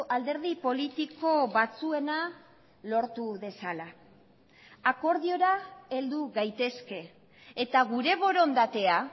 alderdi politiko batzuena lortu dezala akordiora heldu gaitezke eta gure borondatea